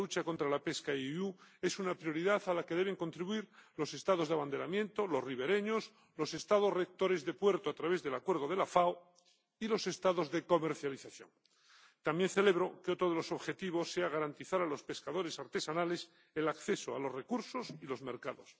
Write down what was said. La lucha contra la pesca INDNR es una prioridad a la que deben contribuir los Estados de abanderamiento, los ribereños, los Estados rectores de puerto, a través del acuerdo de la FAO, y los Estados de comercialización. También celebro que otro de los objetivos sea garantizar a los pescadores artesanales el acceso a los recursos y a los mercados.